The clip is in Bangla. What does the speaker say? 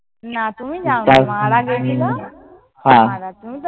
না। তুমি যাও নি। মারা গেছিল। তুমি তো